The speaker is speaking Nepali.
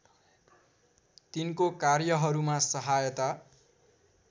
तिनको कार्यहरूमा सहायता